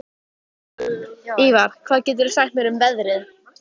Ívar, hvað geturðu sagt mér um veðrið?